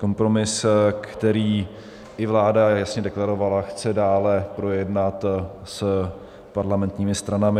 Kompromis, který i vláda jasně deklarovala, chce dále projednat s parlamentními stranami.